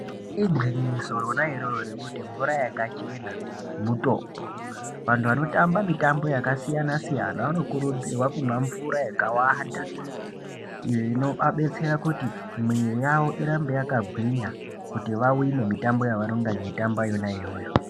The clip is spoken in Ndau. Igwinyiso rona iroro rekuti mvura yakachena mutombo vantu avnotamba mitambo yakasiyanq siyana vanokurudzirwa kumwa mvura yakawanda inoabetsera kuti muwiri yawo irambe yakagwinya kuti vawine mitambo yavanongana veitamba yona iyoyo.